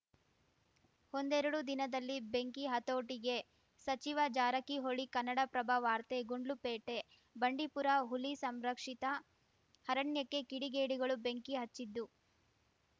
ಒಂದೆರಡು ದಿನದಲ್ಲಿ ಬೆಂಕಿ ಹತೋಟಿಗೆ ಸಚಿವ ಜಾರಕಿಹೊಳಿ ಕನ್ನಡಪ್ರಭ ವಾರ್ತೆ ಗುಂಡ್ಲುಪೇಟೆ ಬಂಡೀಪುರ ಹುಲಿ ಸಂರಕ್ಷಿತ ಅರಣ್ಯಕ್ಕೆ ಕಿಡಿಗೇಡಿಗಳು ಬೆಂಕಿ ಹಚ್ಚಿದ್ದು